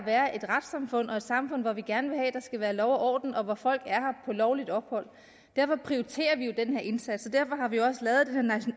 være et retssamfund og et samfund hvor vi gerne vil have der skal være lov og orden og hvor folk er her på lovligt ophold derfor prioriterer vi jo den her indsats